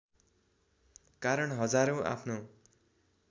कारण हजारौँ आफ्नो